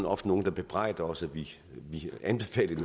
ofte nogle der bebrejder os at vi anbefalede